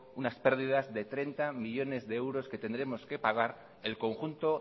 unas pérdidas de treinta millónes de euros que tenemos que pagar el conjunto